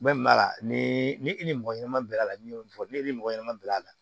ni ni e ni mɔgɔ ɲanama bi a la n'i y'o fɔ ne ni mɔgɔ ɲɛnama bɛn'a la